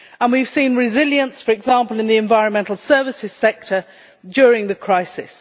And we have seen resilience, for example in the environmental services sector, during the crisis.